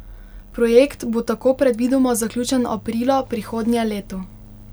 Projekt bo tako predvidoma zaključen aprila prihodnje leto.